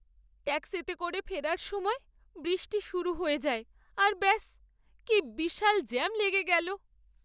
ট্যাক্সিতে করে ফেরার সময় বৃষ্টি শুরু হয়ে যায় আর ব্যাস, কী বিশাল জ্যাম লেগে গেলো।